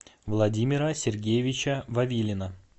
владимира сергеевича вавилина